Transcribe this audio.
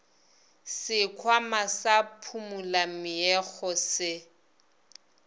sekhwama sa phumula meokgo se